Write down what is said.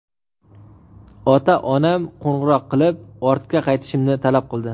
Ota-onam qo‘ng‘iroq qilib, ortga qaytishimni talab qildi.